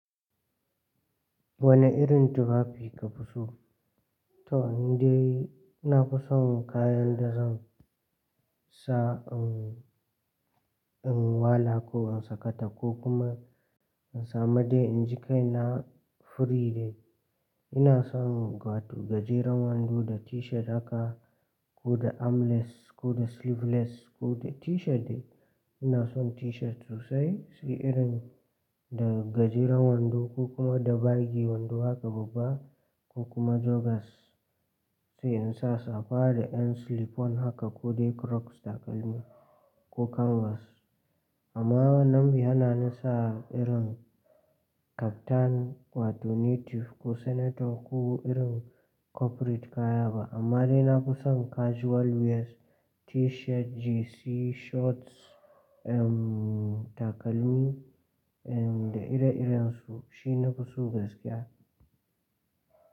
Wane irin tufafi ka fi so? To in dai, na fi son kayan da zan sa in, in wala ko in sakata ko kuma in samu dai inji kai na free dai. Ina son gwatu gajeren wando da t-shirt haka ko da armless ko da sleeveless ko da t-shirt dai. Ina son t-shirt sosai, shi irin da gajeren wando ko kuma da bagi wando haka babba ko kuma joggers. Sai in sa safa da ƴan slip-on haka ko dai crocs takalmi ko canvas. Amma wanan bai hana ni sa irin kaftan wato native ko senator ko irin corporate kaya ba. Amma dai na fi son casual wears t-shirt, jersey shorts, ehm takalmi, ehm da ire-iren su shi na fi so gaskiya.